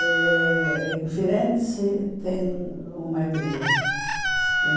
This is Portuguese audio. Eh em Firenze, tem uma igreja.